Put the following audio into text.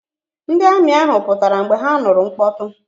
Ndị amị ahụ pụtara mgbe ha nụrụ mkpọtụ.